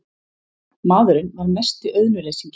Maðurinn var mesti auðnuleysingi.